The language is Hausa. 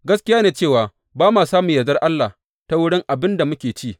Gaskiya ne cewa ba ma samun yardar Allah ta wurin abin da muke ci.